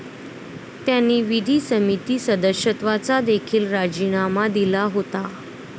त्यांनी विधी समिती सदस्यत्वाचा देखील राजीनामा दिला होता.